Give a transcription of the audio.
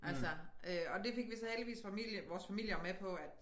Altså øh og det fik vi så heldigvis familie vores familier med på at